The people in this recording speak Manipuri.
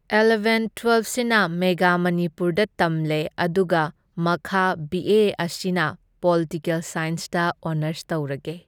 ꯑꯦꯜꯂꯕꯦꯟ ꯇ꯭ꯋꯦꯜꯐꯁꯤꯅ ꯃꯦꯒꯥ ꯃꯅꯤꯄꯨꯔꯗ ꯇꯝꯂꯦ, ꯑꯗꯨꯒ ꯃꯈꯥ ꯕꯤ ꯑꯦ ꯑꯁꯤꯅ ꯄꯣꯜꯇꯤꯀꯦꯜ ꯁꯥꯏꯟꯁꯇ ꯑꯣꯅꯔꯁ ꯇꯧꯔꯒꯦ꯫